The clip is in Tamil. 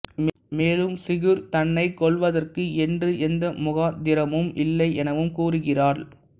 மேலும் சிகுர் தன்னை கொல்வதற்கு என்று எந்த முகாந்த்திரமும் இல்லையெனவும் கூறுகிறாள்